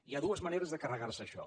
hi ha dues maneres de carregar se això